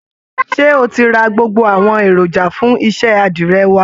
Ṣé o ti ra gbogbo àwọn èròjà fún iṣẹ́ àdìrẹ wá?